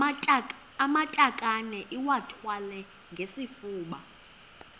amatakane iwathwale ngesifuba